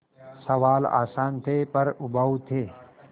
सवाल आसान थे पर उबाऊ थे